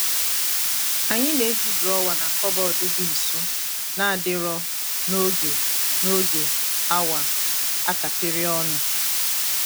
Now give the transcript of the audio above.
anyị na-eji drọwa na kọbọd dị nso na-adị nro n'oge n'oge awa a kapịrị ọnụ.